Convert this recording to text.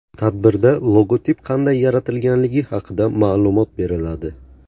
Tadbirda logotip qanday yaratilganligi haqida ma’lumot beriladi.